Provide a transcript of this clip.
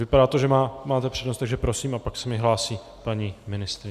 Vypadá to, že máte přednost, takže prosím, a pak se mi hlásí paní ministryně.